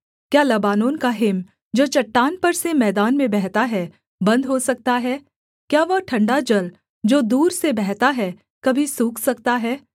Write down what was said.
क्या लबानोन का हिम जो चट्टान पर से मैदान में बहता है बन्द हो सकता है क्या वह ठण्डा जल जो दूर से बहता है कभी सूख सकता है